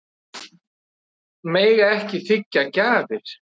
Mega ekki þiggja gjafir